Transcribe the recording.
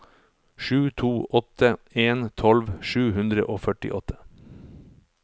sju to åtte en tolv sju hundre og førtiåtte